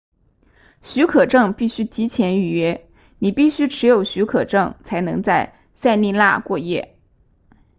许可证必须提前预约你必须持有许可证才能在塞利纳过夜